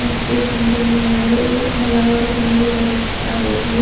ಮತ್ತು ಶಾಂತಿಯನು ಮಾಡಲು ಹಲವಾರು ಜನರು ಬರುತ್ತಾರೆ ಇಲ್ಲಿ.